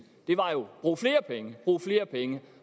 det var jo brug flere penge brug flere penge